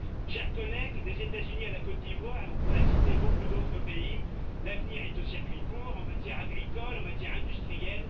Chers collègues, des États Unis à la Côte d'Ivoire, on pourrait citer beaucoup d'autres pays, l'avenir est aux circuits courts en matière agricole et en matière industrielle.